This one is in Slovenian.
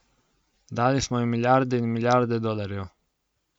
Dali smo jim milijarde in milijarde dolarjev.